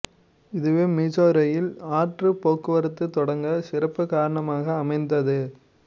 இதுவே மிசௌரியில் ஆற்று போக்குவரத்து தொடங்க சிறப்பு காரணமாக அமைந்தது